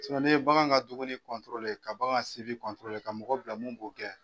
n'i ye bagan ka duguni ka bagan ka mɔgɔ bila min b'o kɛ.